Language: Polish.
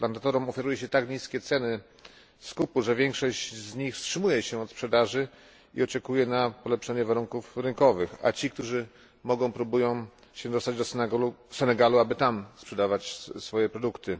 Plantatorom oferuje się tak niskie ceny skupu, że większość z nich wstrzymuje się od sprzedaży i oczekuje na polepszenie warunków rynkowych, a ci, którzy mogą, próbują się dostać do Senegalu, aby tam sprzedawać swoje produkty.